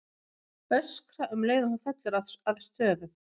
Öskra um leið og hún fellur að stöfum.